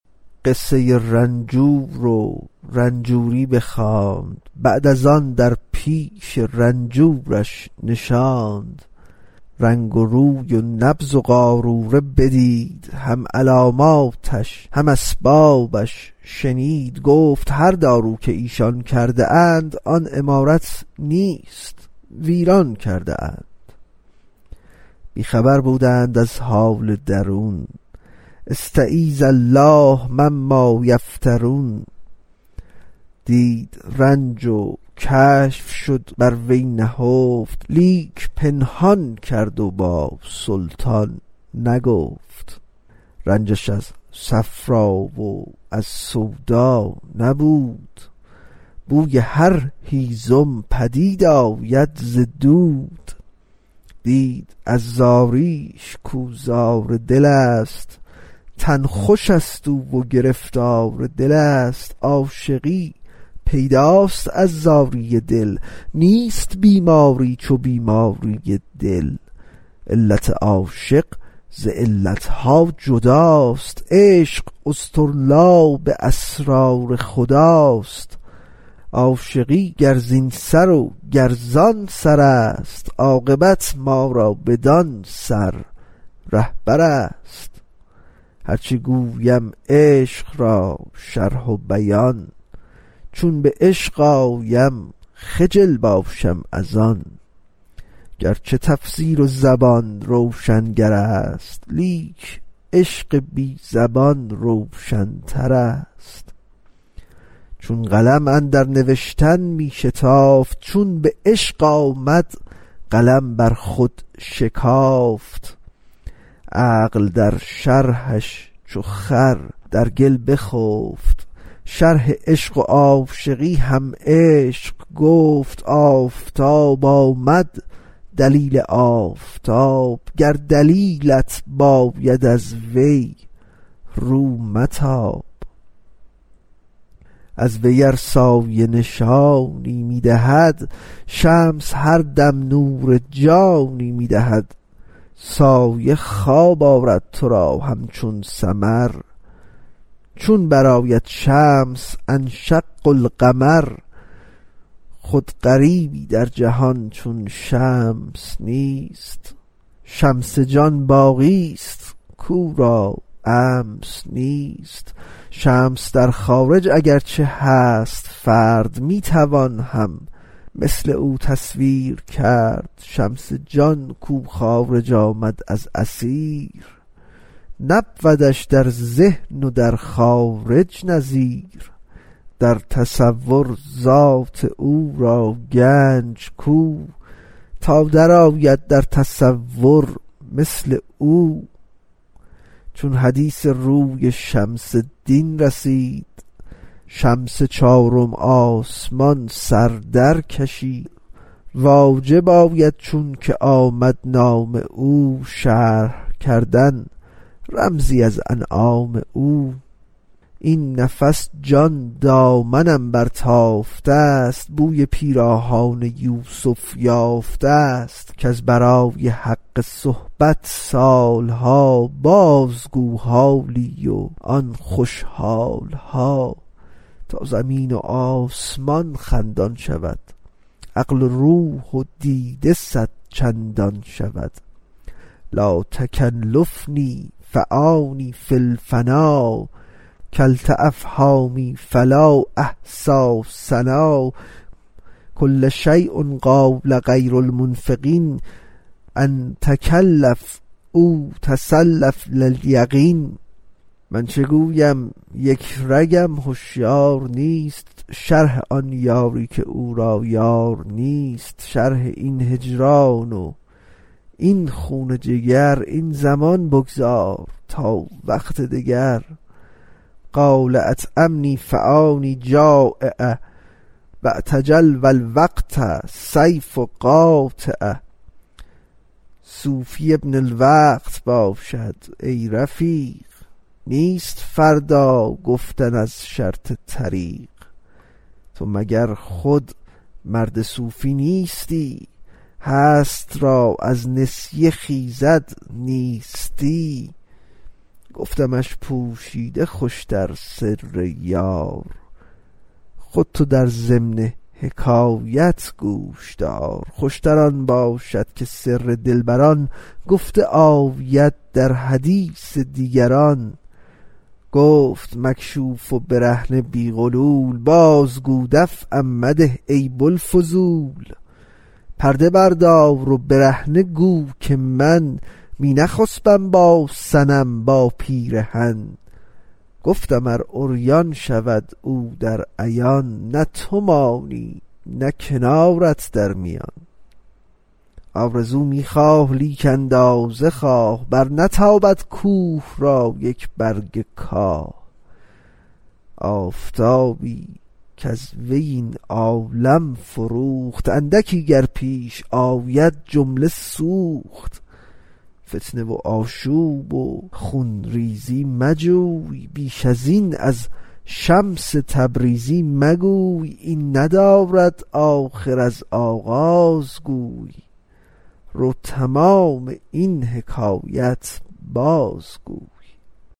قصه رنجور و رنجوری بخواند بعد از آن در پیش رنجورش نشاند رنگ روی و نبض و قاروره بدید هم علاماتش هم اسبابش شنید گفت هر دارو که ایشان کرده اند آن عمارت نیست ویران کرده اند بی خبر بودند از حال درون استـعـیــذ الـله مـمـــا یفـتـــرون دید رنج و کشف شد بر وی نهفت لیک پنهان کرد و با سلطان نگفت رنجش از صفرا و از سودا نبود بوی هر هیزم پدید آید ز دود دید از زاریش کاو زار دلست تن خوشست و او گرفتار دلست عاشقی پیداست از زاری دل نیست بیماری چو بیماری دل علت عاشق ز علت ها جداست عشق اصطرلاب اسرار خداست عاشقی گر زین سر و گر زان سرست عاقبت ما را بدان سر رهبرست هرچه گویم عشق را شرح و بیان چون به عشق آیم خجل باشم از آن گرچه تفسیر زبان روشنگرست لیک عشق بی زبان روشنترست چون قلم اندر نوشتن می شتافت چون به عشق آمد قلم بر خود شکافت عقل در شرحش چو خر در گل بخفت شرح عشق و عاشقی هم عشق گفت آفتاب آمد دلیل آفتاب گر دلیلت باید از وی رو متاب از وی ار سایه نشانی می دهد شمس هر دم نور جانی می دهد سایه خواب آرد تو را همچون سمر چون برآید شمس انشق القمر خود غریبی در جهان چون شمس نیست شمس جان باقیی کش امس نیست شمس در خارج اگر چه هست فرد می توان هم مثل او تصویر کرد شمس جان کو خارج آمد از اثیر نبودش در ذهن و در خارج نظیر در تصور ذات او را گنج کو تا درآید در تصور مثل او چون حدیث روی شمس الدین رسید شمس چارم آسمان سر در کشید واجب آید چونکه آمد نام او شرح کردن رمزی از انعام او این نفس جان دامنم برتافته ست بوی پیراهان یوسف یافته ست کز برای حق صحبت سال ها بازگو حالی از آن خوش حال ها تا زمین و آسمان خندان شود عقل و روح و دیده صدچندان شود لاتکلفنی فانی فی الفنا کلت افهامی فلا احصی ثنا کل شیء قاله غیر المفیق أن تکلف او تصلف لا یلیق من چه گویم یک رگم هشیار نیست شرح آن یاری که او را یار نیست شرح این هجران و این خون جگر این زمان بگذار تا وقت دگر قال اطعمنی فانی جٰایع واعتجل فالوقت سیف قاطع صوفی ابن الوقت باشد ای رفیق نیست فردا گفتن از شرط طریق تو مگر خود مرد صوفی نیستی هست را از نسیه خیزد نیستی گفتمش پوشیده خوش تر سر یار خود تو در ضمن حکایت گوش دار خوش تر آن باشد که سر دلبران گفته آید در حدیث دیگران گفت مکشوف و برهنه بی غلول بازگو دفعم مده ای بوالفضول پرده بردار و برهنه گو که من می نخسپم با صنم با پیرهن گفتم ار عریان شود او در عیان نه تو مانی نه کنارت نه میان آرزو می خواه لیک اندازه خواه برنتابد کوه را یک برگ کاه آفتابی کز وی این عالم فروخت اندکی گر پیش آید جمله سوخت فتنه و آشوب و خون ریزی مجوی بیش ازین از شمس تبریزی مگوی این ندارد آخر از آغاز گوی رو تمام این حکایت بازگوی